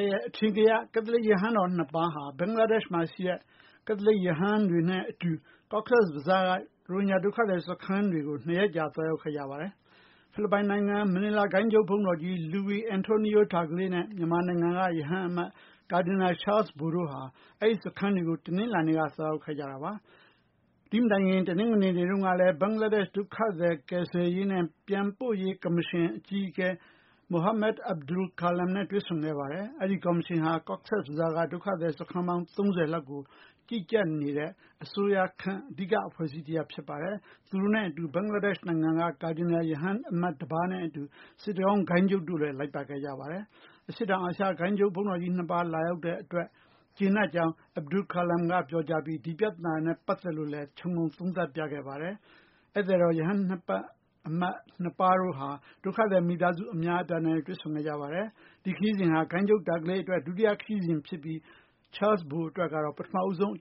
ရဲ့ အထင်ကရ ကက်သလစ် ရဟန်းတော် နှစ်ပါးဟာ ဘင်္ဂလားဒေရှ့်မှာ ရှိတဲ့ ကက်သလစ် ရဟန်းတွေနဲ့အတူ Cox’s Bazar ရှိ ရိုဟင်ဂျာ ဒုက္ခသည်စခန်းတွေကို ၂ ရက်ကြာ သွားရောက်နေကြပါတယ်။ ဖိလစ်ပိုင်နိုင်ငံ၊ မနီလာ ဂိုဏ်းချုပ် ဘုန်းတော်ကြီး Luis Antonio Tagle နဲ့ မြန်မာနိုင်ငံက ရဟန်းအမတ် ကာဒီနယ် ချားလ်စ်ဘို တို့ဟာ အဲဒီစခန်းတွေကို တနင်္လာနေ့က သွားရောက်ခဲ့ကြတာပါ။ တနင်္ဂနွေနေ့တုန်းကလည်း ဘင်္ဂလားဒေရှ့်ဒုက္ခသည် ကယ်ဆယ်ရေးနဲ့ ပြန်ပို့ရေးကော်မရှင် အဖွဲ့ အကြီးအကဲ Muhammad Abul Kalam နဲ့ တွေ့ဆုံခဲ့ပါ တယ်။ အဲဒီကော်မရှင်ဟာ Cox’s Bazar က ဒုက္ခသည် စခန်းပေါင်း ၃၀ လောက်ကို ကြီးကြပ်နေတဲ့ အစိုးရခန့် အဓိက အဖွဲ့အစည်း တရပ်ဖြစ်ပါတယ်။ သူတို့နဲ့အတူ ဘင်္ဂလားဒေရှ့် နိုင်ငံက ကာဒီနယ် ရဟန်းအမတ် Patrick D’Rozario နဲ့ စစ်တကောင်းဂိုဏ်းချုပ် Moses Costa တို့လည်း လိုက်ပါခဲ့ကြပါ တယ်။ အရှေ့တောင်အာရှဂိုဏ်းချုပ် ဘုန်းတော်ကြီးနှစ်ပါး လာရောက်တဲ့အတွက် ကျေနပ်ကြောင်း Abul Kalam က ပြောကြားပြီး ဒီပြဿနာနဲ့ပတ်သက်ပြီး တော့လည်း ခြုံငုံသုံးသပ်ပြခဲ့ပါတယ်။ ဧည့်သည်တော် ရဟန်းအမတ် နှစ်ပါးတို့ဟာ ဒုက္ခသည်မိသားစုများစွာနဲ့လည်း တွေ့ဆုံခဲ့ကြပါတယ်။ ဒီခရီးစဉ်ဟာ ဂိုဏ်းချုပ် Tagle အတွက် ဒုတိယအကြိမ်ဖြစ်ပြီး ချားလ်စ် ဘိုအတွက်တော့ ပထမဆုံးအ